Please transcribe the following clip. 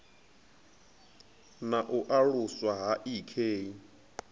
na u aluswa ha ik